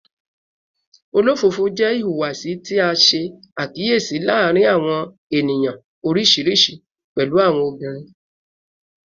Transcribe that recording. Olofofo jẹ ihuwasi ti a ṣe akiyesi laarin awọn eniyan oriṣiriṣi, pẹlu awọn obinrin